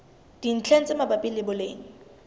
dintlheng tse mabapi le boleng